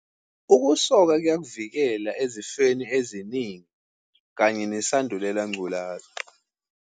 Ukusoka kuyakuvikela ezifeni eziningi kanye nesandulela ngculaza.